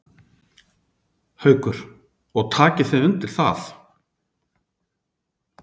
Haukur: Og takið þið undir það?